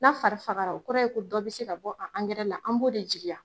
N' a fari fagara o kɔrɔ ye ko dɔ bɛ se ka bɔ ankɛrɛ la, an b'o de jigiya.